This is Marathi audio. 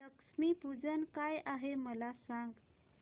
लक्ष्मी पूजन काय आहे मला सांग